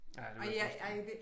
Ja det kunne jeg forestille mig